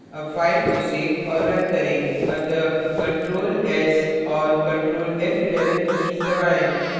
अब file को so और now करें अतः ctrl s और ctrl f11 कीज दबाएँ